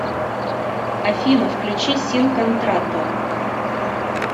афина включи син контрато